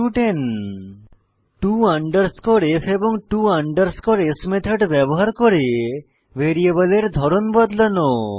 to f to s method ব্যবহার করে ভ্যারিয়েবলের ধরন বদলানো